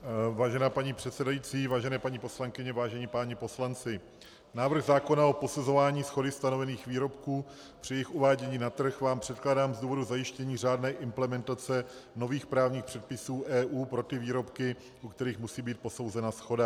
Vážená paní předsedající, vážené paní poslankyně, vážení páni poslanci, návrh zákona o posuzování shody stanovených výrobků při jejich uvádění na trh vám předkládám z důvodu zajištění řádné implementace nových právních předpisů EU pro ty výrobky, u kterých musí být posouzena shoda.